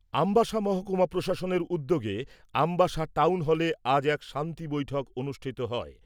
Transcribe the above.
আমবাসা মহকুমা প্রশাসনের উদ্যোগে আমবাসা টাউন হলে আজ এক শান্তি বৈঠক অনুষ্ঠিত হয়।